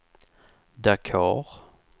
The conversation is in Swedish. Dakar